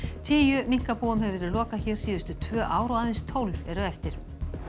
tíu minkabúum hefur verið lokað hér síðustu tvö ár og aðeins tólf eru eftir